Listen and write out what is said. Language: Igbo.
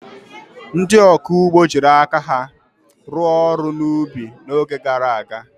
Ndị ọkụ ugbo jiri aka ha rụọ ọrụ n'ubi n'oge gara aga.